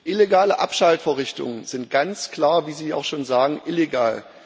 Illegale Abschaltvorrichtungen sind ganz klar, wie sie auch schon sagen, illegal.